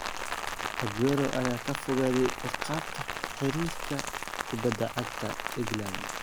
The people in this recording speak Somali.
Aguero ayaa ka fogaaday ciqaabta xiriirka kubadda cagta England.